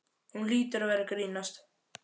Hún hlýtur að vera að grínast.